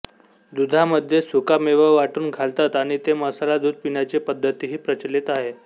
दुधामध्ये सुकामेवा वाटून घालतात आणि ते मसाला दूध पिण्याची पद्धतीही प्रचलित आहे